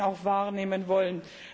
auch wahrnehmen wollen.